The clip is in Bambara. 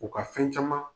U ka fɛn caman